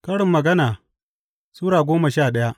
Karin Magana Sura goma sha daya